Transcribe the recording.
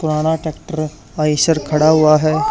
पुराना ट्रैक्टर आईसर खड़ा हुआ है।